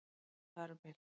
Já, eða þar um bil